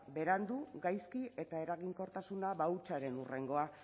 berandu gaizki eta eraginkortasuna hutsaren hurrengoa